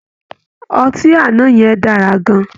Ọtí àná yẹn dára gan-an